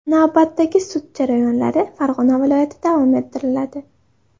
Navbatdagi sud jarayonlari Farg‘ona viloyatida davom ettiriladi.